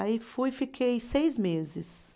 Aí fui e fiquei seis meses.